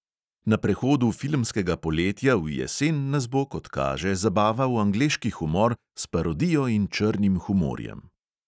Na prehodu filmskega poletja v jesen nas bo, kot kaže, zabaval angleški humor s parodijo in črnim humorjem.